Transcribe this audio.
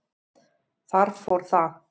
Það fór allt